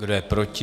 Kdo je proti?